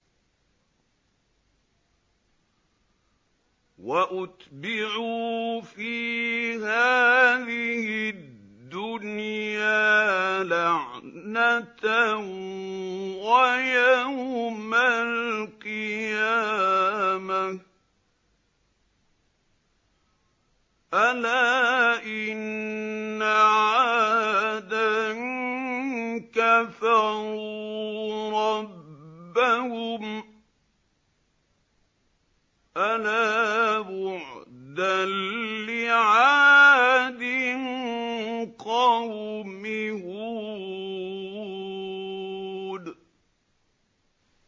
وَأُتْبِعُوا فِي هَٰذِهِ الدُّنْيَا لَعْنَةً وَيَوْمَ الْقِيَامَةِ ۗ أَلَا إِنَّ عَادًا كَفَرُوا رَبَّهُمْ ۗ أَلَا بُعْدًا لِّعَادٍ قَوْمِ هُودٍ